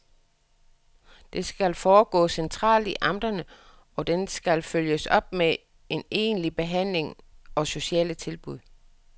Det skal foregå centralt i amterne, og den skal følges op med en egentlig behandling og sociale tilbud.